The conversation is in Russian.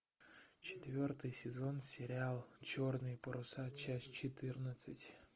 четвертый сезон сериал черные паруса часть четырнадцать